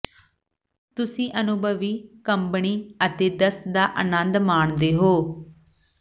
ਤੁਸੀਂ ਅਨੁਭਵੀ ਕੰਬਣੀ ਅਤੇ ਦਸਤ ਦਾ ਆਨੰਦ ਮਾਣਦੇ ਹੋ